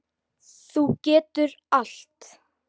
Þú getur allt.